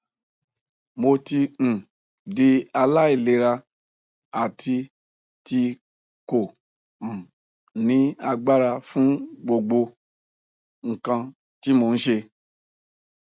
mo ti um di alailera ati ti ko um ni agbara fun gbogbo nkan ti mo n ṣe